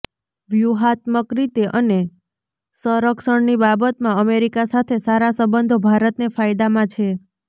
વ્યૂહાત્મક રીતે અને સંરક્ષણની બાબતમાં અમેરિકા સાથે સારા સંબંધો ભારતને ફાયદામાં છે